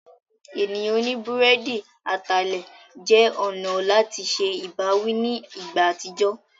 Ènìyàn oní búrẹ́dì atalẹ̀ jẹ́ ọ̀nà láti se ìbáwí ní ìgbà àtijọ́.